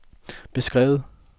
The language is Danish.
beskrevet